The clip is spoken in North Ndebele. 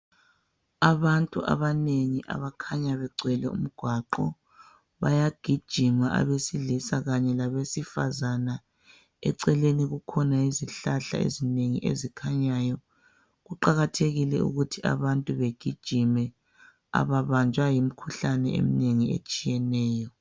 Abantu abanengi abakhanya begcwele umgwaqo bayagijima abesilisa kanye labesifazana eceleni kukhona izihlahla ezinengi ezikhanyayo kuqakathekile ukuthi abantu begijime ababanjwa yimikhuhlane eminengi etshiyeneyo